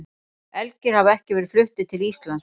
Elgir hafa ekki verið fluttir til Íslands.